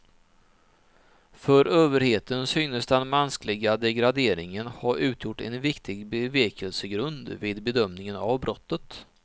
För överheten synes den mänskliga degraderingen ha utgjort en viktig bevekelsegrund vid bedömningen av brottet.